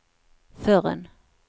förrän